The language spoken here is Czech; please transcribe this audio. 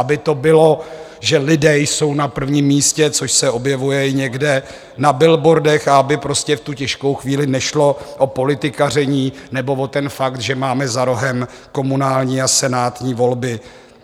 Aby to bylo, že lidé jsou na prvním místě, což se objevuje i někde na billboardech, aby prostě v tu těžkou chvíli nešlo o politikaření nebo o ten fakt, že máme za rohem komunální a senátní volby.